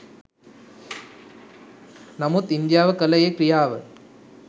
නමුත් ඉන්දියාව කළ ඒ ක්‍රියාව